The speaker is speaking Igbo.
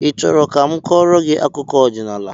I chọrọ ka m kọọrọ gị akụkọ ọdịnala?